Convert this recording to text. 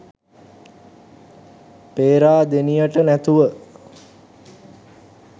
පේරාදෙනියට නැතුව